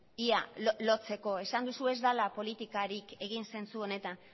ia lotzeko esan duzu ez dela politikarik egin zentzu honetan